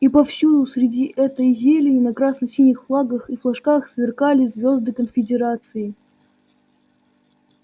и повсюду среди этой зелени на красно-синих флагах и флажках сверкали звезды конфедерации